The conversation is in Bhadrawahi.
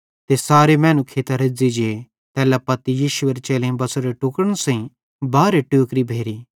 ते सारे मैनू खेइतां रेज़्ज़ी जे तैल्ला पत्ती यीशुएरे चेलेईं बच़ोरे टुक्ड़न सेइं बारहे टोकरी भेरि